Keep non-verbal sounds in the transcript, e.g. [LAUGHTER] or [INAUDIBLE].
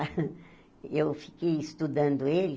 [LAUGHS] eu fiquei estudando ele.